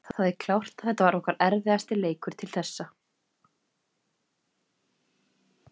Það er klárt að þetta var okkar erfiðasti leikur til þessa